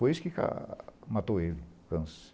Foi isso que ca matou ele, o câncer.